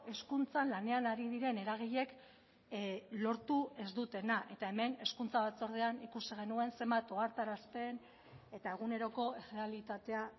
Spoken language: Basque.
hezkuntzan lanean ari diren eragileek lortu ez dutena eta hemen hezkuntza batzordean ikusi genuen zenbat ohartarazten eta eguneroko errealitatea